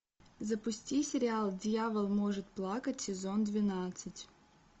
запусти сериал дьявол может плакать сезон двенадцать